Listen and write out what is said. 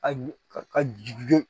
A ka ju